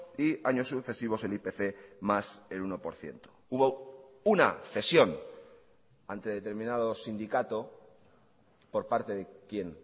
y años sucesivos el ipc más el uno por ciento hubo una cesión ante determinado sindicato por parte de quien